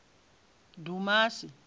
dumasi